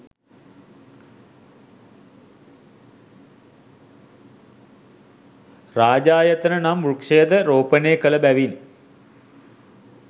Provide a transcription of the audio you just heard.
රාජායතන නම් වෘක්ෂයද රෝපණය කළ බැවින්